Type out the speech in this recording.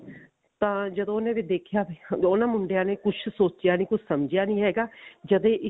ਤਾਂ ਜਦੋਂ ਉਹਨੇ ਦੇਖਿਆ ਉਹਨਾਂ ਮੁੰਡਿਆਂ ਨੇ ਕੁਛ ਸੋਚਿਆ ਨੀ ਕੁਝ ਸਮਝਿਆ ਨੀ ਜਦੇ ਇੱਕ